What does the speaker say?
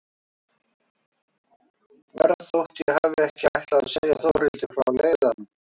Verð þótt ég hafi ekki ætlað að segja Þórhildi frá leiðanum.